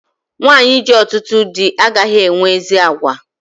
Nwanyi ji ọtụtụ dị agaghị enwe ezi àgwà